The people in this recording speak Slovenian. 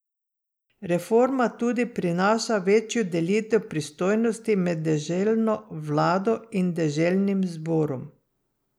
Reforma tudi prinaša večjo delitev pristojnosti med deželno vlado in deželnim zborom.